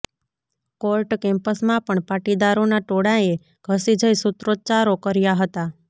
court કેમ્પસમાં પણ પાટીદારોના ટોળાંએ ધસી જઇ સૂત્રોચ્ચારો કર્યા હતા